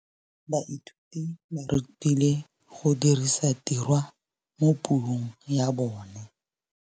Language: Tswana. Baithuti ba rutilwe go dirisa tirwa mo puong ya bone.